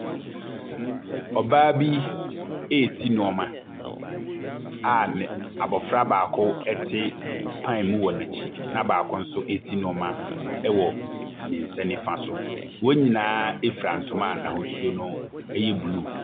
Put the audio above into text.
Ɔbaa bi resi nneɛma a ne abɔfra baako te kwan mu wɔ n'akyi na baako nso resi nneɛma wɔ ne nsa nifa so. Wɔn nyinaa fura ntoma a n'ahosuo no yɛ blue.